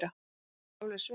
Þetta var alveg svimandi!